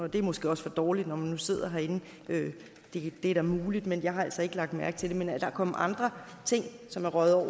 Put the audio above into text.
det er måske også for dårligt når man nu sidder herinde det er da muligt men jeg har altså ikke lagt mærke til det men er der andre ting som røg over